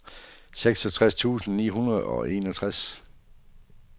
seksogtres tusind ni hundrede og enogtres